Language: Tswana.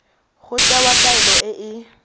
go tewa taelo e e